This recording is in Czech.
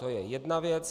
To je jedna věc.